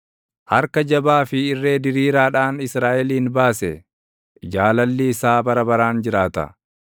harka jabaa fi irree diriiraadhaan Israaʼelin baase; Jaalalli isaa bara baraan jiraata.